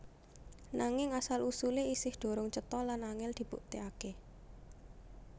Nanging asal usulé isih durung cetha lan angèl dibuktèkaké